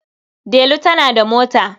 Delu tana da mota.